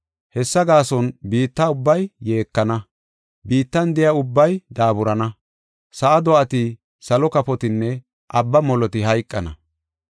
Hessa gaason biitta ubbay yeekana; biittan de7iya ubbay daaburana. Sa7a do7ati, salo kafotinne abba moloti hayqana.